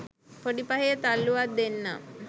පොඩි පහේ තල්ලුවක් දෙන්නම්